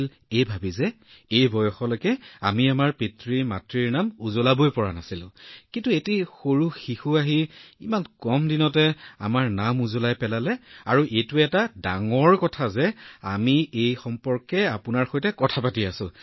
যদিও আমি এই বয়সলৈকে আমাৰ পিতৃমাতৃৰ বাবে গৌৰৱ কঢ়িয়াই আনিব নোৱাৰিলো ইমান কম দিনত এটা সৰু শিশু আহি আমাৰ নাম উজ্বলাই তুলিছে আৰু ডাঙৰ কথাটো যে আজি মই এই বিষয়টোৰ বিষয়ে আপোনাৰ সৈতে কথা পাতি আছোঁ